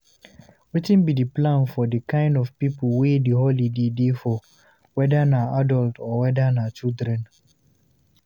Wetin be the plan for the kind of pipo wey di holiday dey for, weda na adult or weda na children